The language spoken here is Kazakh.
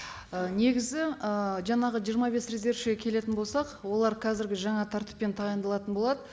ы негізі ы жаңағы жиырма бес резервшіге келетін болсақ олар қазіргі жаңа тәртіппен тағайындалатын болады